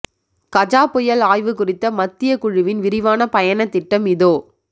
கஜா புயல் ஆய்வு குறித்த மத்திய குழுவின் விரிவான பயண திட்டம் இதோ